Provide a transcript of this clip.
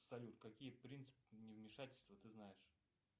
салют какие принципы не вмешательства ты знаешь